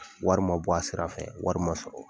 Wari ma bɔ a sira fɛ wari sɔrɔ